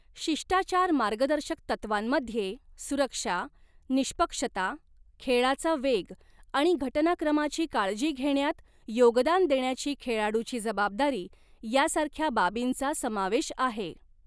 शिष्टाचार मार्गदर्शक तत्त्वांमध्ये सुरक्षा, निष्पक्षता, खेळाचा वेग आणि घटनाक्रमाची काळजी घेण्यात योगदान देण्याची खेळाडूची जबाबदारी, यासारख्या बाबींचा समावेश आहे.